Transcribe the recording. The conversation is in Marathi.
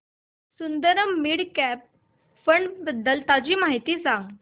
सुंदरम मिड कॅप फंड बद्दल ताजी माहिती सांग